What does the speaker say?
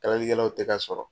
Kalalikɛlaw tɛ ka sɔrɔ.